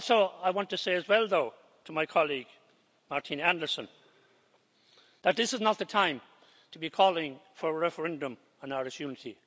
I want to say as well, though, to my colleague Martina Anderson, that this is not the time to be calling for a referendum on Irish unity.